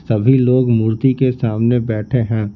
सभी लोग मूर्ति के सामने बैठे है।